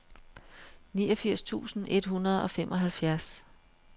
niogfirs tusind et hundrede og femoghalvfjerds